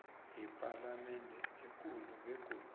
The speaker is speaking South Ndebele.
yepalamende ekulu begodu